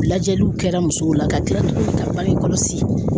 Lajɛliw kɛra musow la ka kila tuguni ka bange kɔlɔsi